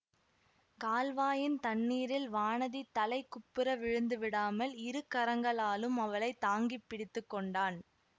கால்வாயின் தண்ணீரில் வானதி தலைகுப்புற விழுந்து விடாமல் இரு கரங்களாலும் அவளை தாங்கி பிடித்து கொண்டான்